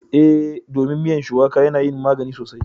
Eh, domin miyan shuwaƙa yana yin magani sosai